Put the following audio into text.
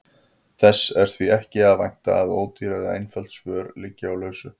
Þess er því ekki að vænta að ódýr eða einföld svör liggi á lausu.